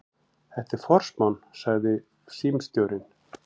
Þetta er forsmán, sagði símstjórinn.